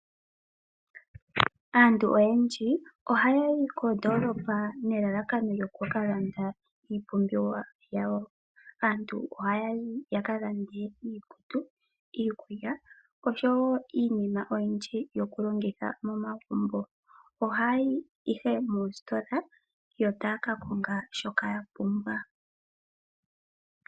Aantu oyendji ohaya yi koondoolopa nelalakano lyokukalanda iipumbiwa yawo. Aantu ohayi ya ka lande iikutu, iikulya oshowo iinima oyindji yokulongitha momagumbo. Ohaya yi ihe moositola yo taya ka konga shoka ya pumbwa.